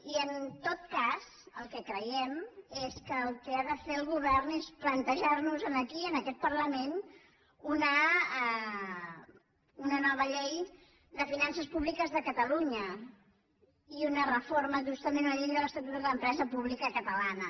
i en tot cas el que creiem és que el que ha de fer el govern és plantejar nos aquí en aquest parlament una nova llei de finances públiques de catalunya i una reforma justament una llei de l’estatut de l’empresa pública catalana